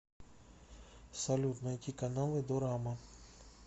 салют найти каналы дорама